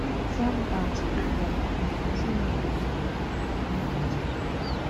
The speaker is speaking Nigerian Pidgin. selfdoubt fit rise and pesin no go dey trust im own decisions